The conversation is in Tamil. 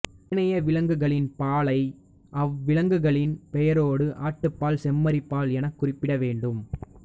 ஏனைய விலங்குகளின் பாலை அவ்விலங்குகளின் பெயரோடு ஆட்டுப் பால் செம்மறிப் பால் எனக் குறிப்பிட வேண்டும்